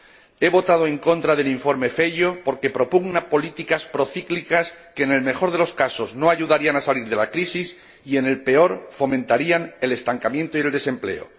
Y he votado en contra del informe Feio porque propugna políticas procíclicas que, en el mejor de los casos, no ayudarían a salir de la crisis y, en el peor, fomentarían el estancamiento y el desempleo.